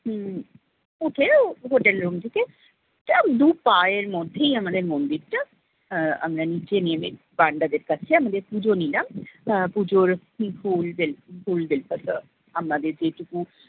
উম উঠে hotel room থেকে দু পায়ের মধ্যেই আমাদের মন্দিরটা আহ আমরা নিচে নেবে panda দের কাছে আমাদের পুজো নিলাম। আহ পুজোর ফুল দিল~ ফুল বেলপাতা আমাদের যে টুকু